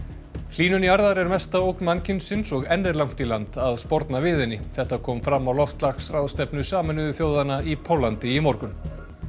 hlýnun jarðar er mesta ógn mannkynsins og enn er langt í land að sporna við henni þetta kom fram á loftslagsráðstefnu Sameinuðu þjóðanna í Póllandi í morgun